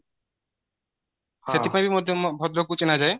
ସେଥିପାଇଁ ମଧ୍ୟ ଭଦ୍ରକ କୁ ଚିହ୍ନାଯାଏ